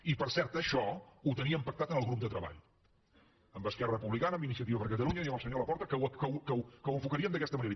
i per cert això ho teníem pactat en el grup de treball amb esquerra republicana amb iniciativa per catalunya i amb el senyor laporta que ho enfocaríem d’aquesta manera